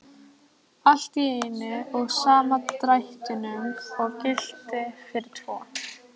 Allt í einum og sama drættinum og gilti fyrir tvo!